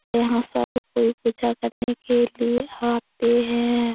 यहाँ सब कोई पूजा करने के लिए आते हैं।